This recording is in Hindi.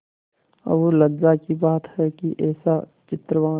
और लज्जा की बात है कि ऐसा चरित्रवान